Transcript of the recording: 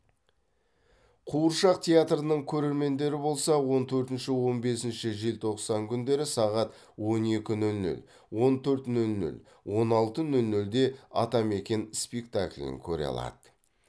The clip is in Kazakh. қуыршақ театрының көрермендері болса он төртінші он бесінші желтоқсан күндері сағат он екі нөл нөл он төрт нөл нөл он алты нөл нөлде атамекен спектаклін көре алады